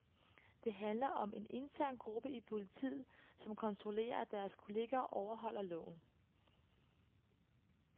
Det handler om en intern gruppe i politiet, som kontrollerer, at deres kollegaer overholder loven.